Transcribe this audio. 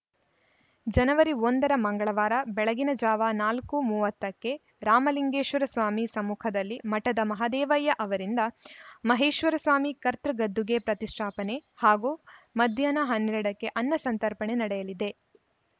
ಜನವರಿ ಒಂದ ರ ಮಂಗಳವಾರ ಬೆಳಗಿನ ಜಾವ ನಾಲ್ಕು ಮೂವತ್ತ ಕ್ಕೆ ರಾಮಲಿಂಗೇಶ್ವರ ಸ್ವಾಮಿ ಸಮ್ಮುಖದಲ್ಲಿ ಮಠದ ಮಹದೇವಯ್ಯ ಅವರಿಂದ ಮಹೇಶ್ವರಸ್ವಾಮಿ ಕರ್ತೃ ಗದ್ದುಗೆ ಪ್ರತಿಷ್ಠಾಪನೆ ಹಾಗೂ ಮಧ್ಯಾಹ್ನ ಹನ್ನೆರಡ ಕ್ಕೆ ಅನ್ನಸಂತರ್ಪಣೆ ನಡೆಯಲಿದೆ